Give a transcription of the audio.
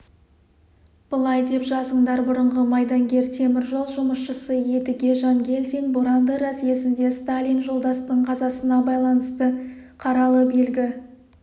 былай деп жазыңдар бұрынғы майдангер темір жол жұмысшысы едіге жангелдин боранды разъезінде сталин жолдастың қазасына байланысты қаралы белгі